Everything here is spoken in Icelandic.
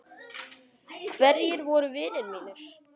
Hverjir voru vinir mínir?